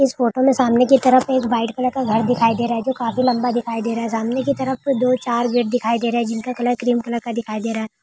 इस फोटो में सामने कि तरफ एक व्हाइट कलर का घर दिखाई दे रहा है जो काफी लंबा दिखाई दे रहा है। सामने कि तरफ से दो चार गेट दिखाई दे रहे हैं जिनका कलर क्रीम कलर का दिखाई दे रहा है।